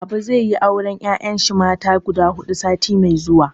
Baba zai yi auren 'ya'yan shi mata guda hudu sati mai zuwa.